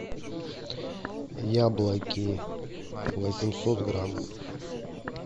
яблоки восемьсот грамм